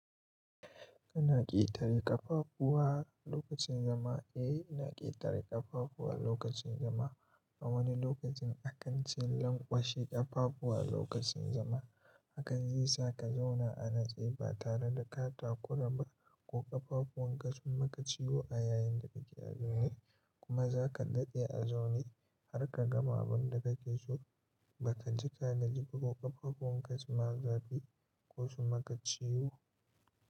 Kana ƙetare ƙafafuwa lokacin zama? Eh, ina ƙetare ƙafafuwa lokacin zama. A wani lokacin, akanci lanƙwashe ƙafafu a lokacin zama hakan zai sa ka zauna a natsi, ba tare da ka takura ba ko ƙafafun ka sumaka ciwo a yayin da kake azumi. Kuma za ka daɗe a zaune har ka gama abin da kake so ba ka ji ka natsiba ko ƙafafun ka suma zafi ko su maka ciwo.